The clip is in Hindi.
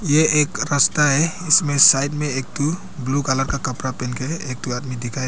ये एक रस्ता है इसमें साइड में एक ठो ब्लू कलर का कपड़ा पहन के एक ठो आदमी दिखाई--